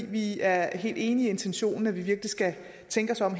vi er helt enige i intentionen at virkelig skal tænke sig om